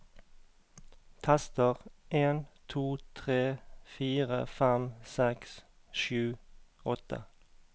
Tester en to tre fire fem seks sju åtte